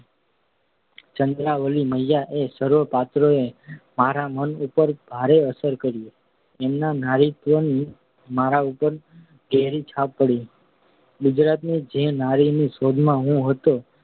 ચંદ્રાવલીમૈયા એ સર્વ પાત્રોએ મારા મન ઉપર ભારે અસર કરી. તેમના નારીત્વની મારા ઉપર ઘેરી છાપ પડી. ગુજરાતની જે નારીની શોધમાં હું હતો